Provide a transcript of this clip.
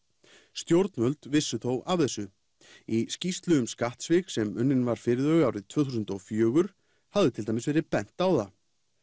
stjórnvöld vissu þó af þessu í skýrslu um skattsvik sem unnin var fyrir þau árið tvö þúsund og fjögur hafði til dæmis verið bent á það